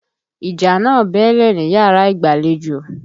Ìjà náà bẹ́ẹ́lẹ̀ níyàrá ìgbàlejò.